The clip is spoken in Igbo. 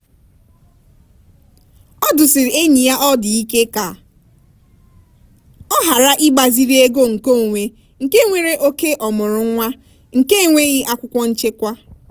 ọ dụsiri enyi ya ọdụ ike ka ọ ghara ịgbaziri ego nkeonwe nke nwere oke ọmụrụ nwa nke enweghi akwụkwọ nchekwa.